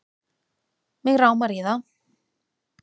Mig rámar í það